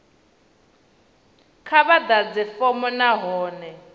kha vha ḓadze fomo nahone